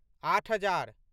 आठ हजार